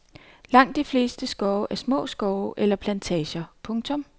Langt de fleste skove er små skove eller plantager. punktum